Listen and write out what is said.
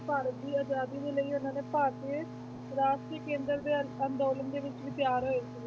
ਭਾਰਤ ਦੀ ਆਜ਼ਾਦੀ ਦੇ ਲਈ ਉਹਨਾਂ ਨੇ ਭਾਰਤੀ ਰਾਸ਼ਟਰੀ ਕੇਂਦਰ ਦੇ ਅੰਦੋਲਨ ਦੇ ਵਿੱਚ ਵੀ ਤਿਆਰ ਹੋਏ ਸੀ,